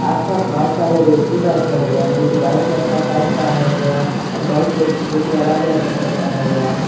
आस पास बहुत सारे व्यक्ति बैठे हुए हैं जो कि व्हाइट कलर का शर्ट पहने हुए हैं और बहुत व्यक्ति जो कि अलग अलग कपड़े पहने हुए हैं।